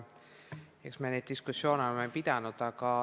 Eks me ole ka neid diskussioone pidanud.